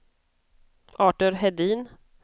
Artur Hedin